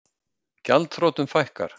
Gjaldþrotum fækkar